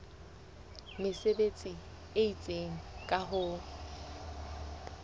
mesebetsi e itseng ka ho